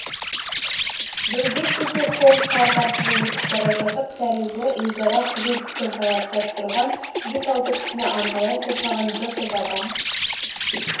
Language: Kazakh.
бірде сити-холл-парк арқылы өтіп бара жатып тәрізі өзара қызу пікір таластырып тұрған бес-алты кісіні анталай қоршаған бір топ адам